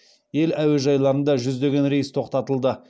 ел әуежайларында жүздеген рейс тоқтатылды